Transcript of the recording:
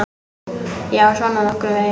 Já, svona nokkurn veginn.